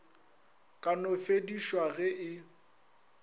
ka no fedišwa ge e